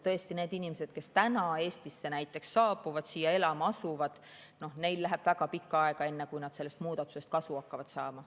Tõesti, neil inimestel, kes praegu Eestisse saabuvad ja siia elama asuvad, läheb väga pikka aega, enne kui nad sellest muudatusest kasu hakkavad saama.